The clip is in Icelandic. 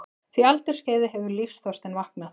því aldursskeiði hefur lífsþorstinn vaknað.